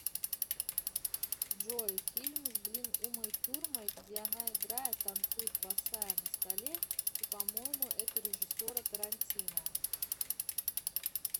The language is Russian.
джой фильм с блин умой турмай где она играет танцует босая на столе и по моему это режиссера тарантино